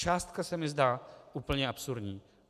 Částka se mi zdá úplně absurdní.